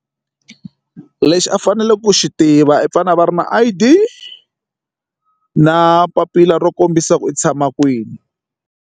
Lexi a faneleke ku xi tiva i fanele a va a ri na I_ D na papila ro kombisa ku u tshama kwini.